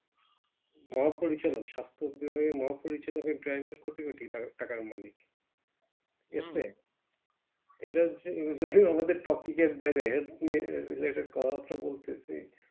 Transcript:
মহা পরিচালক সাস্থ বিভাগে মহা পরিচালকের Driver কোটি কোটি টাকার মালিক এটা হচ্ছে আমাদের Topic এর বাইরে Helth related কথা বার্তা বলতেছি